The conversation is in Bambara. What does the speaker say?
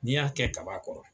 N'i y'a kɛ kaba kɔrɔ